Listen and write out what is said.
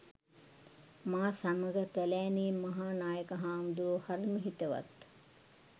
මා සමඟ පැළෑණේ මහා නායක හාමුදුරුවෝ හරිම හිතවත්.